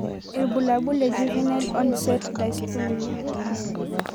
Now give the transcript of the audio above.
Ibulabul le Juvenile onset dystonia.